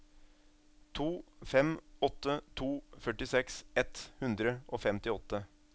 to fem åtte to førtiseks ett hundre og femtiåtte